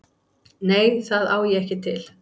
Nei, það á ég ekki til.